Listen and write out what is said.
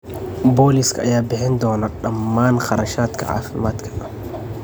Booliiska ayaa bixin doona dhammaan kharashaadka caafimaadka.